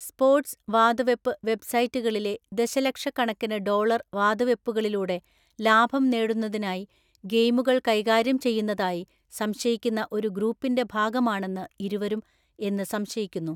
Sports വാതുവെപ്പ് വെബ്‌സൈറ്റുകളിലെ ദശലക്ഷ കണക്കിന് ഡോളർ വാതുവെപ്പുകളിലൂടെ ലാഭം നേടുന്നതിനായി ഗെയിമുകൾ കൈകാര്യം ചെയ്യുന്നതായി സംശയിക്കുന്ന ഒരു ഗ്രൂപ്പിന്റെ ഭാഗമാണെന്ന് ഇരുവരും എന്ന് സംശയിക്കുന്നു.